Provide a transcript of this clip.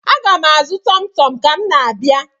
Aga m azụ tọmtọm ka m na-abịa.